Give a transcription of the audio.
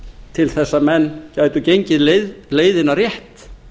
til þess að menn gætu gengið leiðina rétt